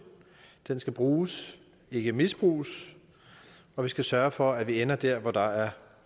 den skal bruges ikke misbruges og vi skal sørge for at vi ender der hvor der er